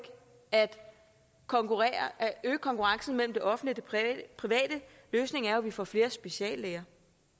at øge konkurrencen mellem det offentlige og det private løsningen er jo at vi får flere speciallæger